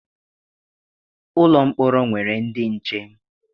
Ụlọ mkpọrọ nwere ndị nche.